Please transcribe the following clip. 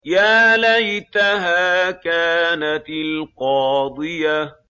يَا لَيْتَهَا كَانَتِ الْقَاضِيَةَ